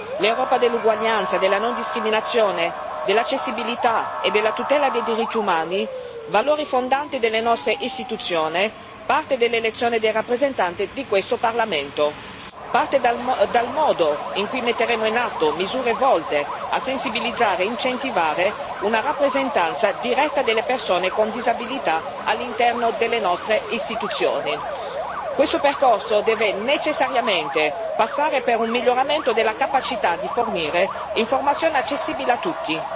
L'Europa dell'uguaglianza, della non discriminazione, dell'accessibilità e della tutela dei diritti umani, valori fondanti delle nostre istituzioni, parte dall'elezione dei rappresentanti di questo Parlamento e parte dal modo in cui metteremo in atto misure volte a sensibilizzare e incentivare una rappresentanza diretta delle persone con disabilità all'interno delle nostre istituzioni. Questo percorso deve necessariamente passare per un miglioramento della capacità di fornire informazione accessibile a tutti.